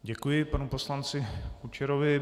Děkuji panu poslanci Kučerovi.